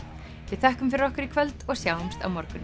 við þökkum fyrir okkur í kvöld og sjáumst á morgun